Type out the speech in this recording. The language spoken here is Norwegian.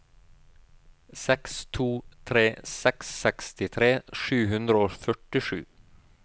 seks to tre seks sekstitre sju hundre og førtisju